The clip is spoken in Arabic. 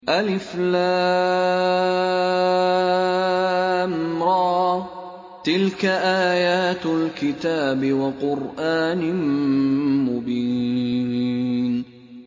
الر ۚ تِلْكَ آيَاتُ الْكِتَابِ وَقُرْآنٍ مُّبِينٍ